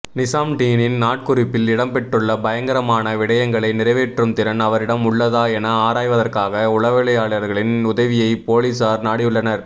நிசாம்டீனின் நாட்குறிப்பில் இடம்பெற்றுள்ள பயங்கரமான விடயங்களை நிறைவேற்றும் திறன் அவரிடம் உள்ளதா என ஆராய்வதற்காக உளவியலாளர்களின் உதவியை பொலிஸார் நாடியுள்ளனர்